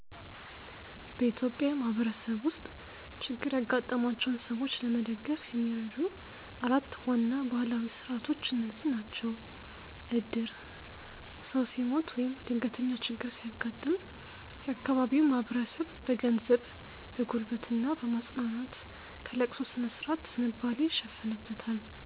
በኢትዮጵያ ማህበረሰብ ውስጥ ችግር ያጋጠማቸውን ሰዎች ለመደገፍ የሚረዱ 4 ዋና ባህላዊ ሥርዓቶች እነዚህ ናቸው፦ ዕድር፦ ሰው ሲሞት ወይም ድንገተኛ ችግር ሲያጋጥም፣ የአካባቢው ማህበረሰብ በገንዘብ፣ በጉልበት እና በማጽናናት ከለቅሶ ሥነ-ሥርዓት ዝንባሌ ይሸፍንበታል።